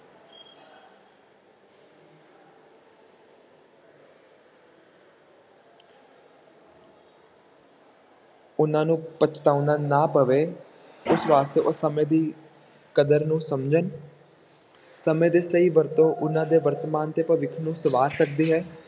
ਉਹਨਾਂ ਨੂੰ ਪਛਤਾਉਣਾ ਨਾ ਪਵੇ ਇਸ ਵਾਸਤੇ ਉਹ ਸਮੇਂ ਦੀ ਕਦਰ ਨੂੰ ਸਮਝਣ ਸਮੇਂ ਦੇ ਸਹੀ ਵਰਤੋਂ ਉਹਨਾਂ ਦੇ ਵਰਤਮਾਨ ਤੇ ਭਵਿੱਖ ਨੂੰ ਸੁਧਾਰ ਸਕਦੀ ਹੈ